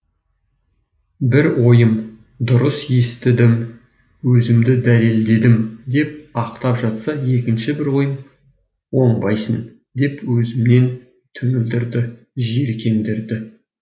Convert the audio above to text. бір ойым дұрыс істедім өзімді дәлелдедім деп ақтап жатса екінші бір ойым оңбайсың деп өзімнен түңілдірді жиіркендірді